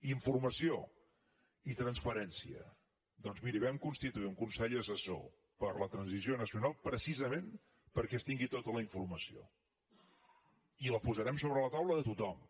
informació i transparència doncs miri vam constituir un consell assessor per a la transició nacional precisament perquè es tingui tota la informació i la posarem sobre la taula de tothom